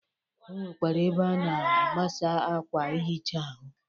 O nwekwara ebe a na-agbasa akwa ihicha ahụ.